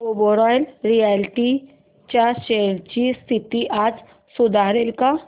Oberoi realty च्या shares ची स्थिती आज सुधारेल का